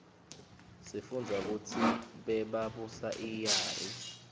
sifunbza kutsi bebabusa iyari